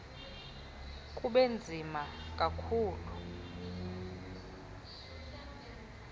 kube nzima kakhulu